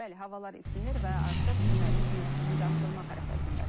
Bəli, havalar isinir və artıq çimərlik mövsümü də açılmaq ərəfəsindədir.